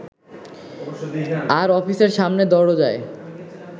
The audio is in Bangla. আর অফিসের সামনে দরোজায়